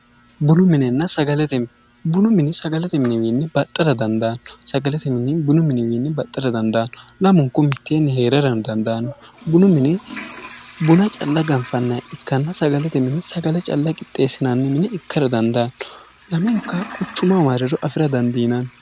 Bunu minenna sagalete mine:-bunu mininni sagalete mini baxa dandaanno lamunkuno miteenni heererano dandaanno bunu mini buna calla ganfanniha ikanna sagalete mini sagale calla qixeessinanni mine ikka dandaanno lamenka quchuma marriro afira dandiinanni.